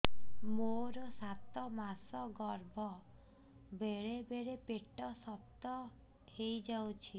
ମୋର ସାତ ମାସ ଗର୍ଭ ବେଳେ ବେଳେ ପେଟ ଶକ୍ତ ହେଇଯାଉଛି